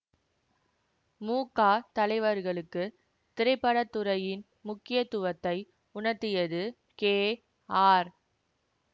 மு க தலைவர்களுக்கு திரைப்பட துறையின் முக்கியத்துவத்தை உணர்த்தியது கே ஆர்